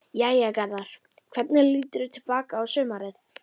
Jæja Garðar, hvernig líturðu til baka á sumarið?